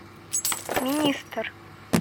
министр